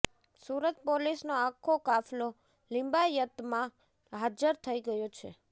સુરત પોલીસનો આખો કાફલો લિંબાયતમાં હાજર થઇ ગયો છે